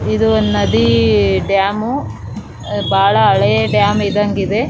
ಇದು ಒಂದು ನದಿ ಡ್ಯಾಮು ಬಹಳ ಹಳೆ ಡ್ಯಾಮ್ ಇದ್ದಂಗ ಇದೆ .